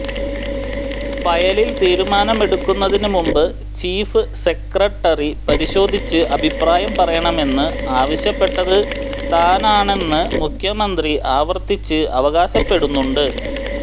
ഫയലിൽ തിരുമാനമെടുക്കുന്നതിന് മുമ്പ് ചീഫ് സെക്രട്ടറി പരിശോധിച്ച് അഭിപ്രായം പറയണമെന്ന് ആവശ്യപ്പെട്ടത് താനാണെന്ന് മുഖ്യമന്ത്രി ആവർത്തിച്ച് അവകാശപ്പെടുന്നുണ്ട്